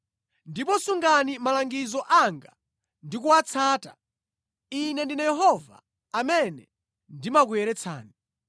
Ndipo sungani malangizo anga ndi kuwatsata. Ine ndine Yehova amene ndimakuyeretsani.